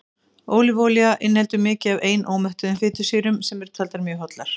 ólífuolía inniheldur mikið af einómettuðum fitusýrum sem eru taldar mjög hollar